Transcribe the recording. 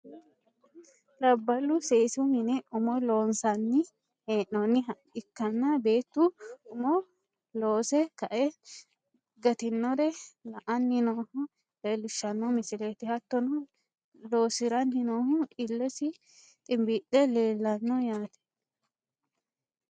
labbalu seesu mine umo loonsanni hee'noonniha ikkanna, beettu umo loose kae gatinore la'anni nooha leelishshanno misileeti hattono loosiranni noohu illesi ximbiille leelanno yaate.